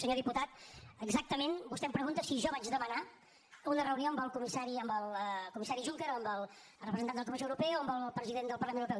senyor diputat exactament vostè em pregunta si jo vaig demanar una reunió amb el comissari juncker amb el representant de la comissió europea o amb el president del parlament europeu